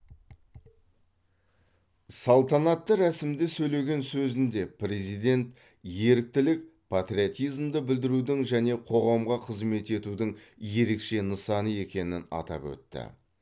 салтанатты рәсімде сөйлеген сөзінде президент еріктілік патриотизмді білдірудің және қоғамға қызмет етудің ерекше нысаны екенін атап өтті